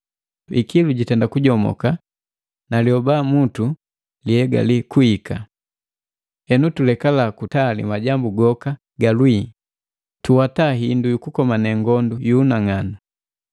Ikilu jitenda kujomoka na lioba mutu kuhegale kuhika. Henu tulekala kutali majambu goka ga lwii, tuwata hindu yukukomane ngondu yu unang'anu.